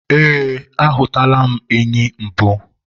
ee, a hụtụla m enyi mbụ